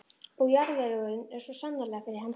Og jarðvegurinn er svo sannarlega fyrir hendi.